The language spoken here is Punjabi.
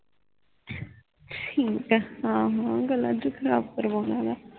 ਠੀਕ ਆਹੋ ਗੱਲਾਂ ਜੇ ਰੱਬ ਕਰਵਾਣਾ ਵੇ